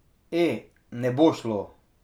E, ne bo šlo.